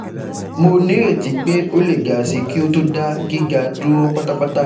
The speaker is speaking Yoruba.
Mo nireti pe o le ga si ki o to da giga duro patapata